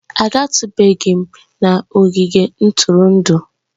Agatụbeghị m ogige ntụrụndụ'